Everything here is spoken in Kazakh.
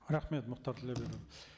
рахмет мұхтар